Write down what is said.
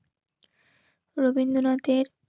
রবীন্দ্রনাথের